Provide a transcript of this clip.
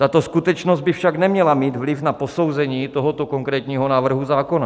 Tato skutečnost by však neměla mít vliv na posouzení tohoto konkrétního návrhu zákona.